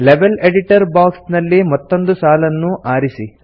level editor box ನಲ್ಲಿ ಮತ್ತೊಂದು ಸಾಲನ್ನು ಆರಿಸಿ